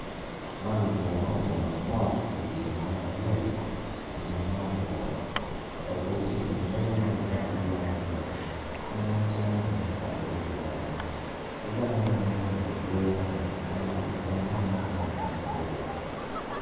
Man labwpr ma obuto mot idye ceng ma lyet i lum ma otwo labwor tye i kin lee ma luwote lworo loyo pien en camo ringo pa lee luwote ki bene dong ngene pii dwirone ka yaka pi lengene ma lenge ka mabor.